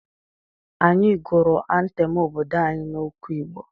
Anyị gụrụ antem obodo anyị n'okwu Igbo.